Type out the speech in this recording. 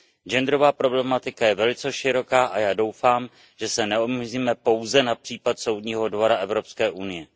Genderová problematika je velice široká a já doufám, že se neomezíme pouze na případ Soudního dvora Evropské unie.